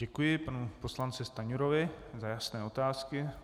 Děkuji panu poslanci Stanjurovi za jasné otázky.